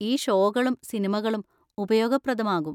ഈ ഷോകളും സിനിമകളും ഉപയോഗപ്രദമാകും.